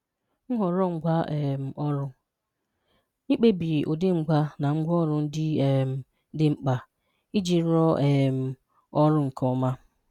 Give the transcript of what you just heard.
Nhọrọ́ Ngwá um Ọrụ̀ – Ikpèbí ụ́dị́ ngwá na ngwaọrụ̀ ndị um dị́ mkpà ijì rụọ̀ um ọrụ̀ nke ọmà.